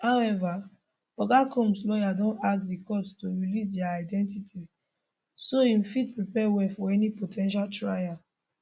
however oga combs lawyers don ask di courts to release dia identities so im fit prepare well for any po ten tial trial